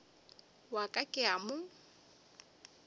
wa ka ke a mo